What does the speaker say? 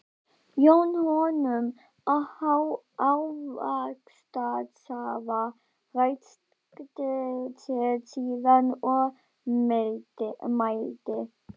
Jón honum ávaxtasafa, ræskti sig síðan og mælti